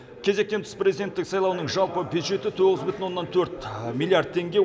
кезектен тыс президенттік сайлауының жалпы бюджеті тоғыз бүтін оннан төрт миллиард теңге